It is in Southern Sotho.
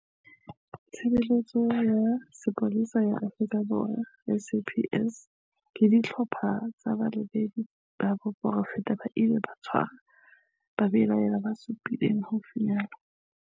Tshe beletso ya Sepolesa ya Afrika Borwa, SAPS, le dihlopha tsa balebedi ba poraefete tse ileng tsa tshwara babelaellwa ba supileng haufinyane.